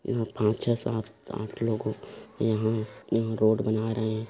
यहाँ पांच छः सात आठ लोगो यहाँ रोड बना रहे--